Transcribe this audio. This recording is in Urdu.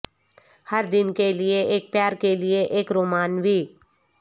ہر دن کے لئے ایک پیار کے لئے ایک رومانوی